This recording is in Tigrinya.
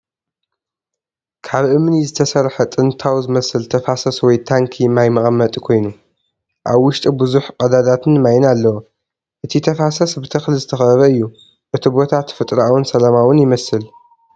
ካብ እምኒ ዝተሰርሐ ጥንታዊ ዝመስል ተፋሰስ ወይ ታንኪ ማይ መቐመጢ ኮይኑ፡ ኣብ ውሽጡ ብዙሕ ቀዳዳትን ማይን ኣለዎ። እቲ ተፋሰስ ብተኽሊ ዝተኸበበ እዩ። እቲ ቦታ ተፈጥሮኣውን ሰላማውን ይመስል፡፡